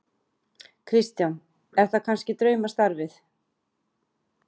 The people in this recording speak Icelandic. Kristján: Er það kannski draumastarfið?